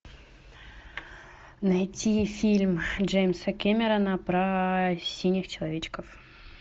найти фильм джеймса кэмерона про синих человечков